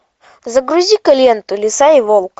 загрузи ка ленту лиса и волк